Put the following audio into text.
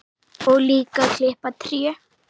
Og líka klippa tré.